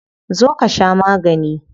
Zo ka sha magani.